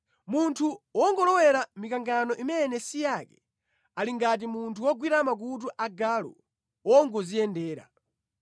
Munthu wongolowera mikangano imene si yake ali ngati munthu wogwira makutu a galu wongodziyendera.